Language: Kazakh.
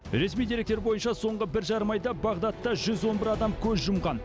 ресми деректер бойынша соңғы бір жарым айда бағдадта жүз он бір адам көз жұмған